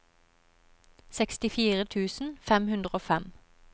sekstifire tusen fem hundre og fem